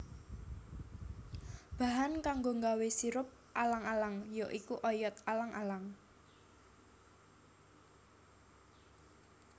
Bahan kanggo nggawé sirup alang alang ya iku oyot alang alang